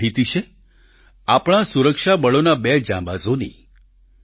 આ માહિતી છે આપણા સુરક્ષા બળોના બે જાંબાઝોની